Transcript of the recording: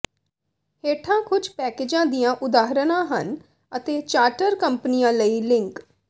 ਹੇਠਾਂ ਕੁਝ ਪੈਕੇਜਾਂ ਦੀਆਂ ਉਦਾਹਰਨਾਂ ਹਨ ਅਤੇ ਚਾਰਟਰ ਕੰਪਨੀਆਂ ਲਈ ਲਿੰਕ